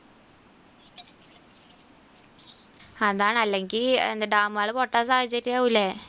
അതാണല്ലെങ്കിൽ dam കൾ പൊട്ടാൻ സാഹചര്യം ആകുല്ലേ.